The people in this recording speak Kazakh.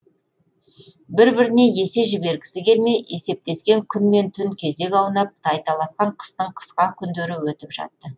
бір біріне есе жібергісі келмей есептескен күн мен түн кезек аунап тайталасқан қыстың қысқа күндері өтіп жатты